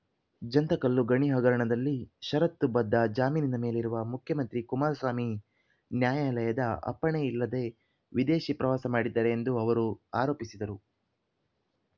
ಜಂತಕಲ್ಲು ಗಣಿ ಹಗರಣದಲ್ಲಿ ಷರತ್ತು ಬದ್ಧ ಜಾಮೀನಿನ ಮೇಲಿರುವ ಮುಖ್ಯಮಂತ್ರಿ ಕುಮಾರಸ್ವಾಮಿ ನ್ಯಾಯಾಲಯದ ಅಪ್ಪಣೆ ಇಲ್ಲದೆ ವಿದೇಶಿ ಪ್ರವಾಸ ಮಾಡಿದ್ದಾರೆ ಎಂದು ಅವರು ಆರೋಪಿಸಿದರು